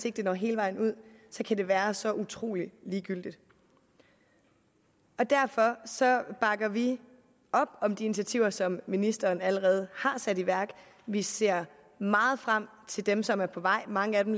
ikke det når hele vejen ud kan det være så utrolig ligegyldigt derfor bakker vi op om de initiativer som ministeren allerede har sat i værk og vi ser meget frem til dem som er på vej mange af dem